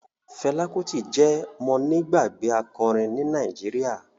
Fela Kuti je mọ́nigbàgbé akọrin ní Nàìjíríà.